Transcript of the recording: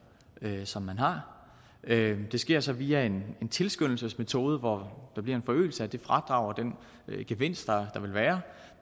som man har det sker så via en tilskyndelsesmetode hvor der bliver en forøgelse af det fradrag og den gevinst der vil være